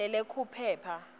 letekuphepha